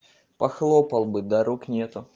похлопал бы да рук нету